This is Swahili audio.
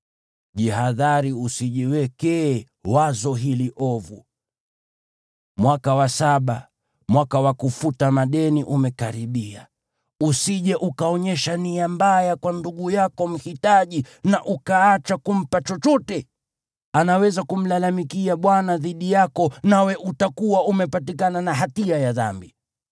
Jihadhari usijiwekee wazo hili ovu: “Mwaka wa saba, mwaka wa kufuta madeni umekaribia,” usije ukaonyesha nia mbaya kwa ndugu yako mhitaji na ukaacha kumpa chochote. Anaweza kumlalamikia Bwana dhidi yako nawe utakuwa umepatikana na hatia ya dhambi.